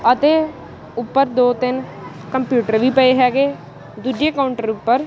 ਅਤੇ ਉੱਪਰ ਦੋ ਤਿੰਨ ਕੰਪਿਊਟਰ ਵੀ ਪਏ ਹੈਗੇ ਦੂਜੇ ਕਾਊਂਟਰ ਉੱਪਰ--